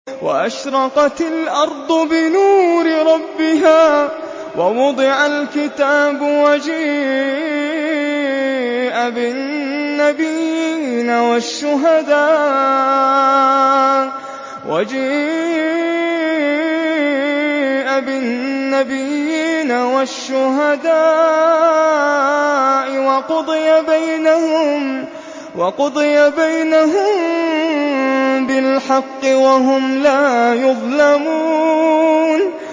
وَأَشْرَقَتِ الْأَرْضُ بِنُورِ رَبِّهَا وَوُضِعَ الْكِتَابُ وَجِيءَ بِالنَّبِيِّينَ وَالشُّهَدَاءِ وَقُضِيَ بَيْنَهُم بِالْحَقِّ وَهُمْ لَا يُظْلَمُونَ